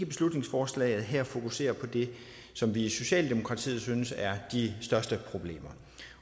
beslutningsforslaget her fokuserer på det som vi i socialdemokratiet synes er de største problemer